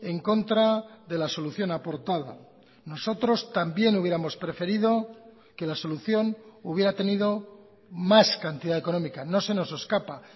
en contra de la solución aportada nosotros también hubiéramos preferido que la solución hubiera tenido más cantidad económica no se nos escapa